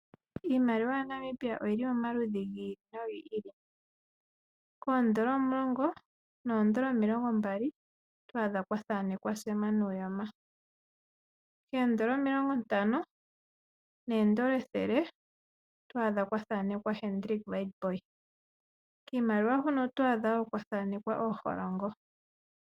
Iimaliwa ya Namibia oyi li momaludhi gi ili nogi ili, oodola omulongo noodola omilongo mbali oto adha kwa thanekwa Sam nuuyoma. Eedola omilongo ntano needola ethele, oto adha kwa thanekwa Hendrik witbooi, kiimaliwa wo oto adha kwa thanekwa ooholongo.